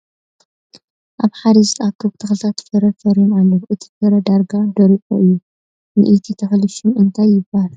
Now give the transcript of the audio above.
ኣብ ሓደ ዝተኣከቡ ትክልታት ፍረ ፈርዮም ኣለዉ ። እቲ ፍረ ዳርጋ ደሪቁ እዩ ። ንይቲ ተክሊ ሹም እንታይ ይበሃል ?